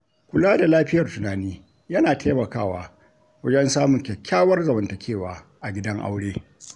Kula da lafiyar tunani yana taimakawa wajen samun kyakkyawar zamantakewa a gidan aure.